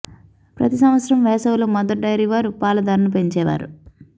ప్రతి సంవత్సరం వేసవిలో మదర్ డైరీ వారు పాల ధరను పెంచేవారు